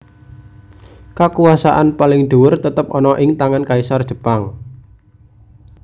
Kakuwasaan paling dhuwur tetep ana ing tangan Kaisar Jepang